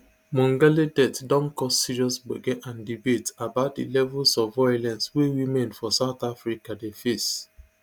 mongale death don cause serious gbege and debate about di levels of violence wey women for south africa dey face